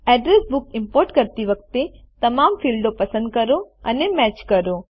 address book import કરતી વખતે તમામ ફીલ્ડો પસંદ કરો અને મેચ કરો